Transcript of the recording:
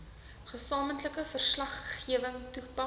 gesamentlike verslaggewing toepas